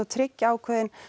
tryggja ákveðinn